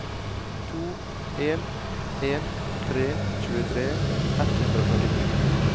to en en tre tjuetre ett hundre og førtito